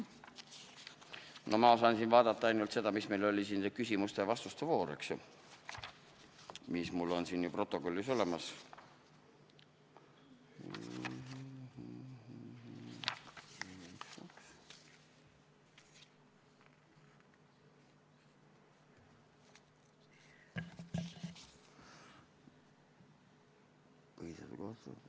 No ma saan siin vaadata ainult seda, mis meil küsimuste-vastuste voorus kõne all oli, eks ju, seda, mis mul siin protokollis on olemas.